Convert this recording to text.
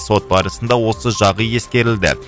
сот барысында осы жағы ескерілді